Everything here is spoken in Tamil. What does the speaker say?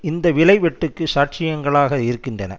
இந்த விலை வெட்டுக்கு சாட்சியங்களாக இருக்கின்றன